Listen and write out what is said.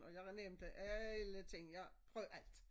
Og jeg nævnte alle ting jeg prøvede alt